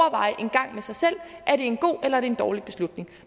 at at en god eller en dårlig beslutning